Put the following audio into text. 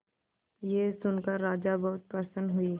यह सुनकर राजा बहुत प्रसन्न हुए